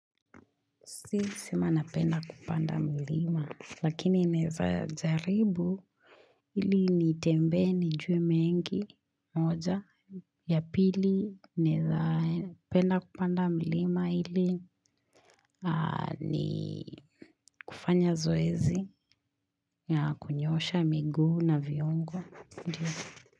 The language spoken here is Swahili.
Si, sima napenda kupanda milima, lakini neza zaribu ili nitembee, nijue mengi, moja, ya pili naeza penda kupanda milima ili ni kufanya zoezi ya kunyosha, miguu na viungo.